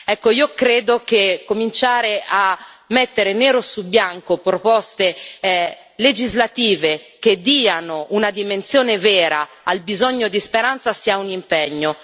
Ecco, io credo che cominciare a mettere nero su bianco proposte legislative che diano una dimensione vera al bisogno di speranza sia un impegno.